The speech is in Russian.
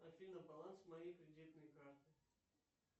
афина баланс моей кредитной карты